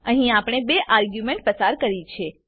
અહીં આપણે બે આર્ગ્યુંમેંટો પસાર કરી છે